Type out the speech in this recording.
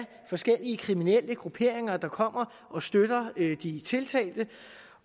forskellige kriminelle grupperinger der kommer og støtter de tiltalte